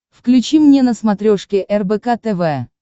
включи мне на смотрешке рбк тв